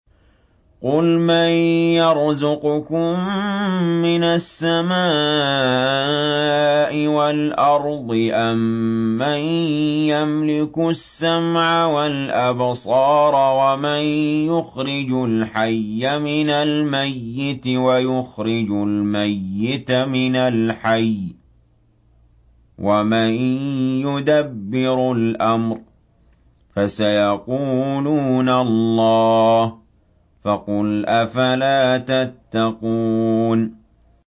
قُلْ مَن يَرْزُقُكُم مِّنَ السَّمَاءِ وَالْأَرْضِ أَمَّن يَمْلِكُ السَّمْعَ وَالْأَبْصَارَ وَمَن يُخْرِجُ الْحَيَّ مِنَ الْمَيِّتِ وَيُخْرِجُ الْمَيِّتَ مِنَ الْحَيِّ وَمَن يُدَبِّرُ الْأَمْرَ ۚ فَسَيَقُولُونَ اللَّهُ ۚ فَقُلْ أَفَلَا تَتَّقُونَ